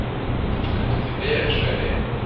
Þú stendur þig vel, Sveiney!